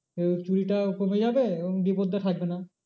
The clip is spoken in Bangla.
চুরিটা কমে যাবে এবং বিপদটা থাকবে না।